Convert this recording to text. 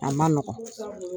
A ma nɔgɔn,